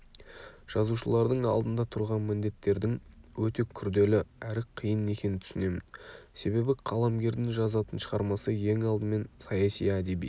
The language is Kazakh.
жазушылардың алдында тұрған міндеттердің өте күрделі әрі қиын екенін түсінемін себебі қаламгердің жазатын шығармасы ең алдымен саяси әдеби